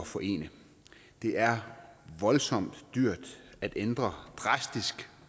forene det er voldsomt dyrt at ændre drastisk